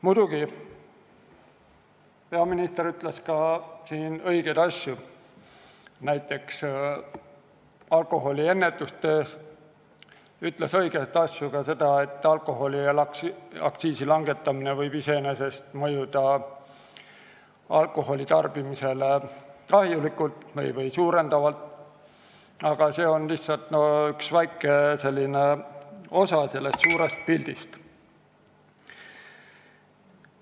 Muidugi ütles peaminister siin ka õigeid asju, näiteks ennetustöö kohta, ta ütles õigeid asju ka selle kohta, et alkoholiaktsiisi langetamine võib iseenesest mõjuda alkoholitarbimist suurendavalt, aga see on lihtsalt üks väikene osa sellest suurest pildist.